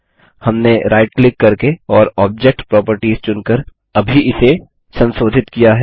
हमने right click करके और ऑब्जेक्ट प्रॉपर्टीज चुन कर अभी इसे संसोधित किया है